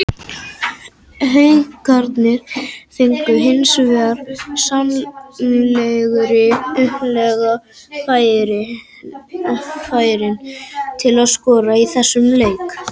Haukarnir fengu hins vegar svo sannarlega færin til að skora í þessum leik.